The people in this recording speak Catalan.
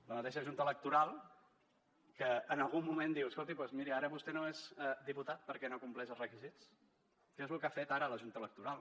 la mateixa junta electoral que en algun moment diu escolti doncs miri ara vostè no és diputat perquè no compleix els requisits que és el que ha fet ara la junta electoral